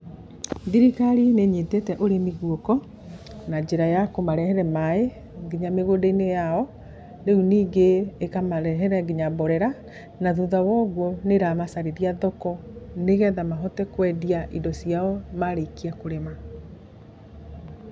Thirikari nĩ ĩnyitĩte ũrĩmi guoko na njĩra a kũmarehera maaĩ nginya mĩgũnda-inĩ yao. Rĩu ningĩ ĩkamarehera nginya mborera. Na thutha wa ũguo nĩramacarĩria thoko nĩgetha mahote kwendia indo ciao marĩkia kũrĩma.